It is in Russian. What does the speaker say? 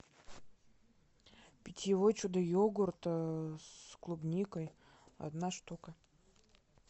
питьевой чудо йогурт с клубникой одна штука